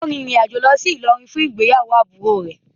Ó rin ìrìn àjò lọ sí ìlọrin fún ìgbéyàwó àbúrò rẹ̀.